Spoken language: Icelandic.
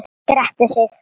Grettir sig.